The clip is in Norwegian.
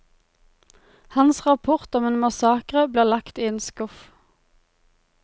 Hans rapport om en massakre blir lagt i en skuff.